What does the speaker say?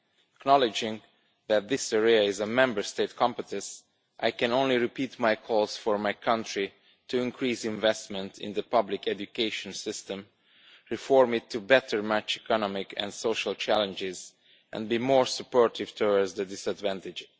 Acknowledging that this area is a Member State competence, I can only repeat my calls for my country to increase investment in the public education system, reform it to better match economic and social challenges and be more supportive towards the disadvantaged.